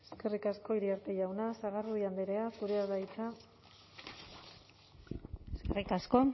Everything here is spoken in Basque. eskerrik asko iriarte jauna sagardui andrea zurea da hitza eskerrik asko